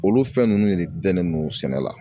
Olu fɛn ninnu de dalen don sɛnɛ la